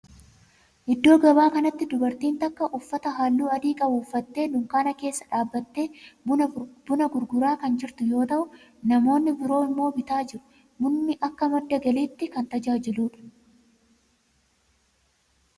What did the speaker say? Iddoo gabaa kanatti dubartiin takka uffata halluu adii qabu uffattee dunkaana keessa dhaabbattee buna gurguraa kan jirtu yoo ta'u namoonni biroo immoo bitaa jiru. Bunni akka madda galiitti kan tajaajiludha.